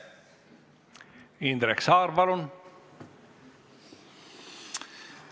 Indrek Saar, palun!